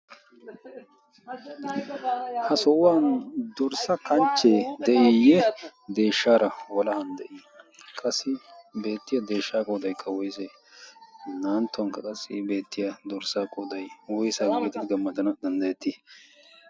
ha so'uwan dorssa kanchchee de'eeyye deeshshaara walan de'ii qassi beettiya deeshshaa qoodaikka woisee na'anttuwankka qassi beettiya dorssaa qooday woysaa gabeetidi gammatana danddayettii?